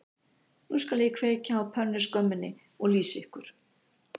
Nú skal ég kveikja á pönnuskömminni og lýsa ykkur